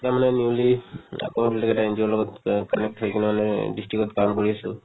তেওঁ মানে newly আকৌ এটা NGO ৰ লগত connect হয় কিনে অলপ হেৰি কৰে মানে district ত কাম কৰি আছো